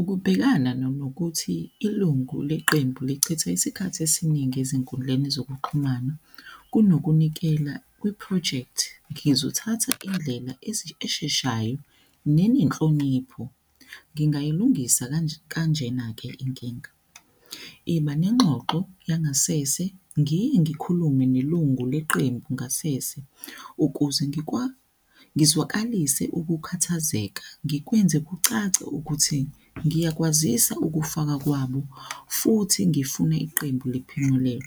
Ukubhekana nanokuthi ilungu leqembu lichitha isikhathi esiningi ezinkundleni zokuxhumana kunokunikela kwi-project. Ngizothatha indlela esheshayo nenenhlonipho. Ngingayilungisa kanjena-ke inkinga, iba nengxoxo yangasese, ngike ngikhulume nelungu leqembu ngasese ukuze ngizwakalise ukukhathazeka, ngikwenze kucace ukuthi ngiyakwazisa ukufaka kwabo futhi ngifune iqembu liphemulele.